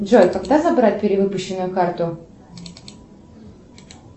джой когда забрать перевыпущенную карту